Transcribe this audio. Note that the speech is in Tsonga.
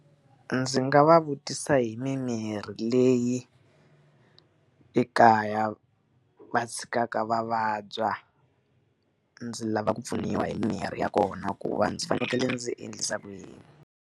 Ndzi nga va vutisa hi mimirhi leyi ekaya va tshikaka va vabya, ndzi lava ku pfuniwa hi mimirhi ya kona ku va ndzi fanekele ndzi endlisa ku yini?